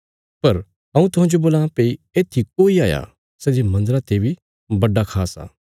पर हऊँ तुहांजो बोलां भई येत्थी कोई हाया सै जे मन्दरा ते बी बड़ा खास आ